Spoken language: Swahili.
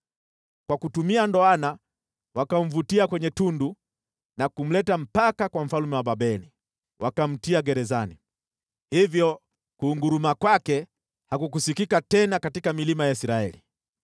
Kwa kutumia ndoana wakamvutia kwenye tundu na kumleta mpaka kwa mfalme wa Babeli. Wakamtia gerezani, hivyo kunguruma kwake hakukusikika tena katika milima ya Israeli.